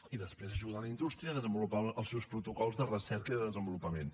i després ajuda la indústria a desenvolupar els seus protocols de recerca i de desenvolupament